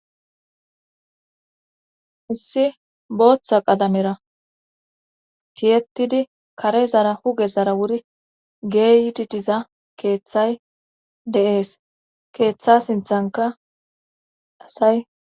Issi booththa qalamera kiyettidi kare zara huge zara wuri geeyititiza keeththay deees keeththa sinthanka asay